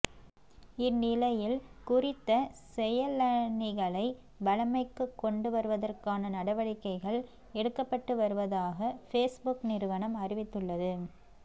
இந்நிலையில் குறித்த செயலணிகளை வழமைக்கு கொண்டு வருவதற்கான நடவடிக்கைகள் எடுக்கப்பட்டு வருவதாக பேஸ்புக் நிறுவனம் அறிவித்துள்ளது